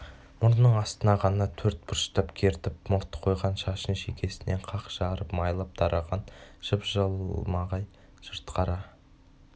мұрнының астына ғана төрт бұрыштап кертіп мұрт қойған шашын шекесінен қақ жарып майлап тараған жып-жылмағай жылтыр қара